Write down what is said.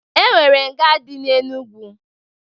E nwere nga dị n'Enugu.